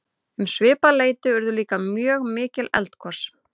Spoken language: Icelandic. um svipað leyti urðu líka mjög mikil eldgos